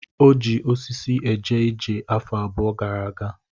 O ji osisi eje ije afọ abụọ gara aga.